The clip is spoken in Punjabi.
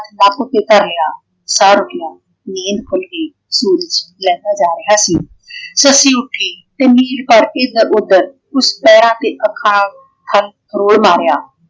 ਨੱਕ ਉਤੇ ਧਰ ਲਿਆ । ਸਾਹ ਰੁੱਕਿਆ ਨੀਂਦ ਖੁੱਲ ਗਈ ਸੂਰਜ ਲਹਿੰਦਾ ਜਾ ਰਿਹਾ ਸੀ। ਸੱਸੀ ਉੱਠੀ ਤੇ ਨੀਰ ਭਰ ਕੇ ਏਧਰ ਓਧਰ ਉਸ ਪੈਰਾਂ ਤੇ ਅੱਖਾਂ ਨਾਲ ਹਲ ਫਰੋਲ ਮਾਰਿਆ।